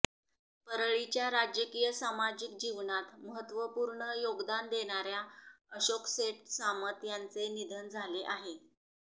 परळीच्या राजकीय सामाजिक जीवनात महत्त्वपूर्ण योगदान देणाऱ्या अशोकसेठ सामत यांचे निधन झाले आहे